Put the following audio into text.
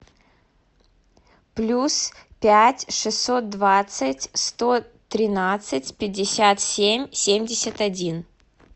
плюс пять шестьсот двадцать сто тринадцать пятьдесят семь семьдесят один